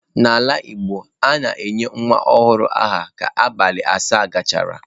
N'ala Igbo, a na-enye nwa ọhụrụ aha ka abalị asaa gachara.